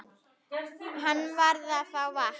Hann varð að fá vatn.